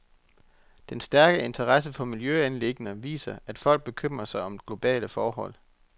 Den stærke interesse for miljøanliggender viser, at folk bekymrer sig om globale forhold.